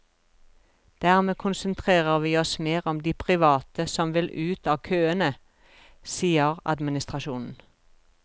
Dermed konsentrerer vi oss mer om de private som vil ut av køene, sier adm.